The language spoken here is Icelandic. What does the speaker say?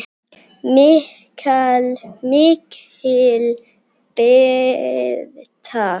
MIKIL BIRTA